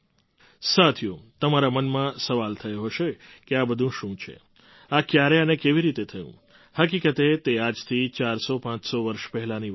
સાથીઓ તમારા મનમાં સવાલ થયો હશે કે આ બધું શું છે આ ક્યારે અને કેવી રીતે થયું હકીકતે તે આજથી ચારસો પાંચસો વર્ષ પહેલાંની વાત છે